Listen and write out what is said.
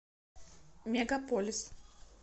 мегаполис